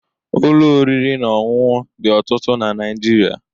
Ụlọ oriri na ọṅụṅụ dị ọtụtụ na Naịjirịa